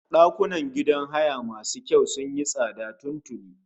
Ɗakunan gidan haya masu kyau sun yi tsada tun tuni